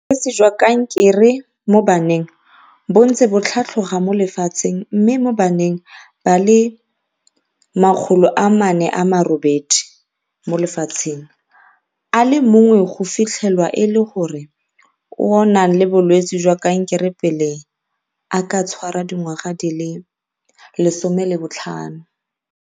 Bolwetse jwa kanke re mo baneng bo ntse bo tlhatloga mo lefatsheng, mme mo baneng ba le 408 mo lefatsheng, a le mong go fitlhelwa e le yo a nang le bolwetse jwa kankere pele a ka tshwara dingwaga di le 15.